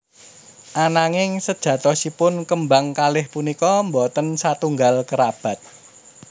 Ananging sejatosipun kembang kalih punika boten satunggal kerabat